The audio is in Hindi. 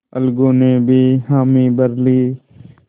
अलगू ने भी हामी भर ली